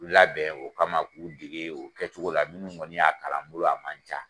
U labɛn o kama k'u dege o kɛcogo la minnu kɔni y'a kalan n bolo o man ca.